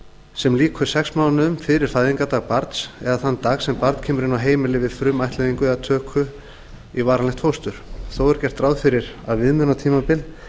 sem lýkur sex mánuðum fyrir fæðingardag barns eða þann dag sem barn kemur inn á heimili við frumættleiðingu eða töku í varanlegt fóstur þó er gert ráð fyrir að viðmiðunartímabil